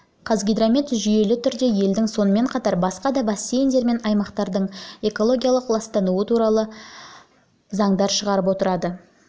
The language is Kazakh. қазгидромет жүйелі түрде елдің сонымен қатар басқа да бассейндер мен аймақтардың экологиялық ластануы туралы бюллетендер шығарып отырады